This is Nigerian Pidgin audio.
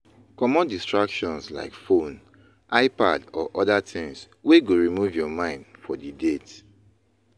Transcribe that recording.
Comot distractions like phone, ipad or oda things wey go remove your mind for di date